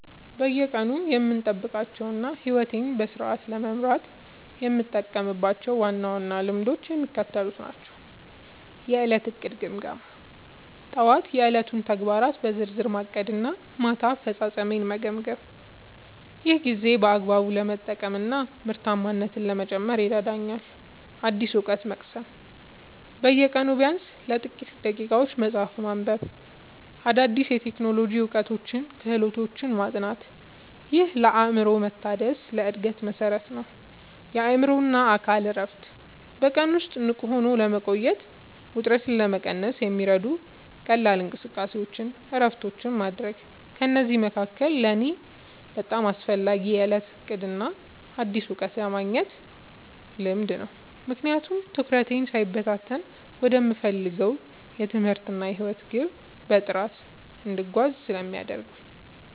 በየቀኑ የምጠብቃቸውና ሕይወቴን በስርዓት ለመምራት የምጠቀምባቸው ዋና ዋና ልማዶች የሚከተሉት ናቸው፦ የዕለት ዕቅድና ግምገማ፦ ጠዋት የዕለቱን ተግባራት በዝርዝር ማቀድና ማታ አፈጻጸሜን መገምገም። ይህ ጊዜን በአግባቡ ለመጠቀምና ምርታማነትን ለመጨመር ይረዳኛል። አዲስ እውቀት መቅሰም፦ በየቀኑ ቢያንስ ለጥቂት ደቂቃዎች መጽሐፍ ማንበብ፣ አዳዲስ የቴክኖሎጂ እውቀቶችንና ክህሎቶችን ማጥናት። ይህ ለአእምሮ መታደስና ለዕድገት መሠረት ነው። የአእምሮና አካል እረፍት፦ በቀን ውስጥ ንቁ ሆኖ ለመቆየትና ውጥረትን ለመቀነስ የሚረዱ ቀላል እንቅስቃሴዎችንና እረፍቶችን ማድረግ። ከእነዚህ መካከል ለእኔ በጣም አስፈላጊው የዕለት ዕቅድና አዲስ እውቀት የማግኘት ልማድ ነው፤ ምክንያቱም ትኩረቴ ሳይበታተን ወደምፈልገው የትምህርትና የሕይወት ግብ በጥራት እንድጓዝ ስለሚያደርጉኝ።